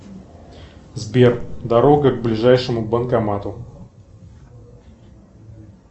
сбер дорога к ближайшему банкомату